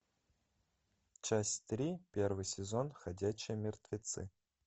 часть три первый сезон ходячие мертвецы